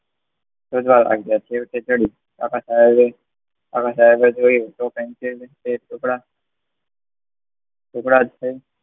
શોધવા લાગ્યા છેવટે જડ્યું. કાકા સાહેબે કાકા સાહેબે જોયું તો પેન્સિલના બે ટુકડા ટુકડા જોઈ